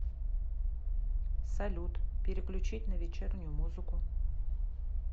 салют переключить на вечернюю музыку